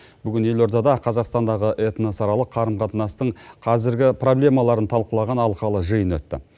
бүгін елордада қазақстандағы этносаралық қарым қатынастың қазіргі проблемаларын талқылаған алқалы жиын өтті